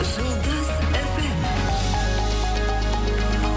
жұлдыз эф эм